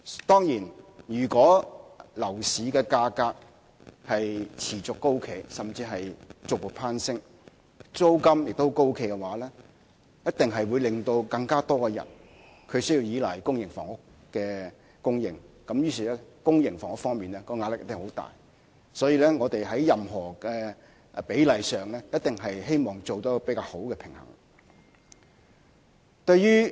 當然，如果樓市的價格持續高企，甚至是逐步攀升，而租金亦高企，一定會令更多人要依賴公營房屋的供應，以致增加興建公營房屋的壓力，所以我們在釐定這比例時，希望能達致較好的平衡。